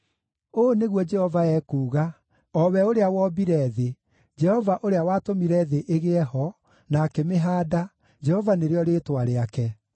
“Ũũ nĩguo Jehova ekuuga, o we ũrĩa wombire thĩ, Jehova ũrĩa watũmire thĩ ĩgĩe ho, na akĩmĩhaanda, Jehova nĩrĩo rĩĩtwa rĩake: